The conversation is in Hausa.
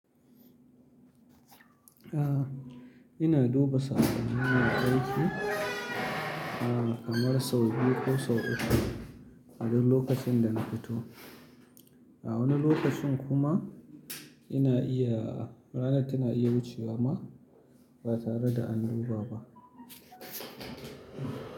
Ah, ina duba saƙon yij aiki, ah kamar sau biyu ko sau uku a duk lokacin da na fito. A wani lokacin kuma ina iya, ranar tana iya wucewa ma ba tare da an duba ba.